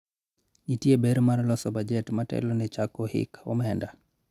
nitie ber mar loso bajet motelo ne chako hik omenda